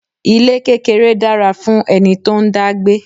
Ilé kékeré dára fún ẹni tó ń dá gbé.